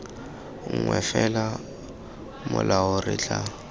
nngwe fela molao re tla